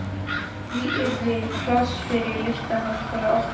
Í því yrði pláss fyrir listaháskóla okkar.